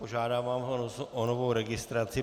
Požádám vás o novou registraci.